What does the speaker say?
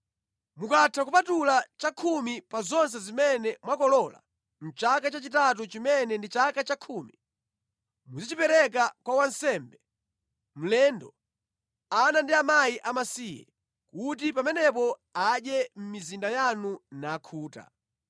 Mukatha kupatula chakhumi pa zonse zimene mwakolola mʼchaka chachitatu chimene ndi chaka chakhumi, muzichipereka kwa wansembe, mlendo, ana ndi akazi amasiye, kuti pamenepo adye mʼmizinda yanu nakhuta.